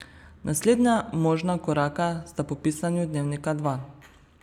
Naslednja možna koraka sta po pisanju Dnevnika dva.